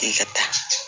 I ka taa